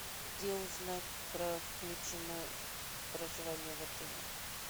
где узнать про включено в проживание в отеле